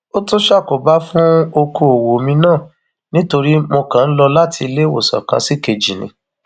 ó tún ṣàkóbá fún ọkọọwọ mi náà nítorí mo kàn ń lọ láti iléewòsàn kan ṣìkejì ni